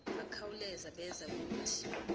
bakhawuleza beza kuthi